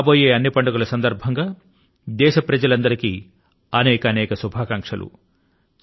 రాబోయే అన్ని పండుగ ల సందర్భం లో దేశ ప్రజలందరికీ అనేకానేక శుభాకాంక్షలు